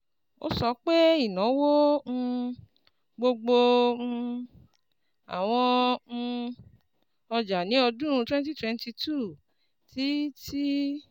Ó sọ pé ìnáwó um gbogbo um àwọn um ọjà ní ọdún twenty twenty two ti ti